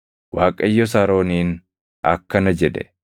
Waaqayyos Arooniin akkana jedhe;